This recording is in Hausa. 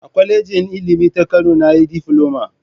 A kwalejin Ilimi ta Kano na yi difiloma